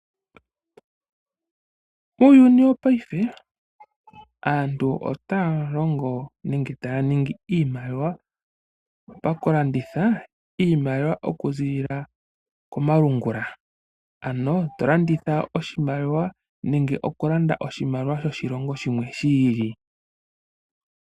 Uuyuni wopayife aantu otaya longo nenge taya ningi iimaliwa pakulanditha iimaliwa okuziilila komalungula . Ano tolanditha oshimaliwa nenge to landa oshimaliwa shoshilongo shimwe shi ili.